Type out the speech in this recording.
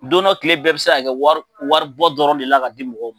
Don dɔ kile bɛɛ bi se ka kɛ wari wari bɔ dɔrɔn de la ka di mɔgɔw ma.